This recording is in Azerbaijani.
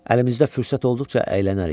Əlimizdə fürsət olduqca əylənərik.